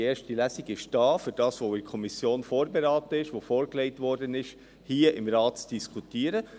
– Die erste Lesung ist da, um das, was in der Kommission vorberaten wurde, was vorgelegt wurde, hier im Rat zu diskutieren.